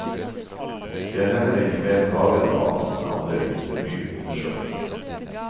De er heller ikke mer plaget av angst enn andre, viser ny undersøkelse.